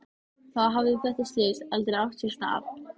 Þá hefði þetta slys aldrei átt sér stað.